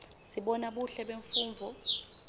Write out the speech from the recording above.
sibona buhle bemfundvo